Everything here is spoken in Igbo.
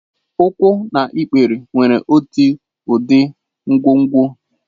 Ụkwụ na ikpere nwere otu ụdị nkwonkwo.